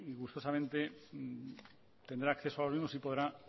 gustosamente tendrá acceso a los mismos y podrá